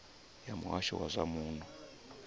ya muhasho wa zwa muno